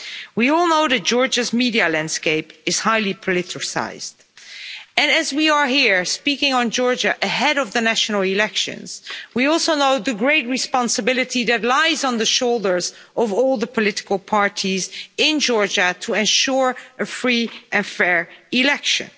We all know that Georgia's media landscape is highly politicised and as we are here speaking on Georgia ahead of the national elections, we also know the great responsibility that lies on the shoulders of all the political parties in Georgia to ensure a free and fair election.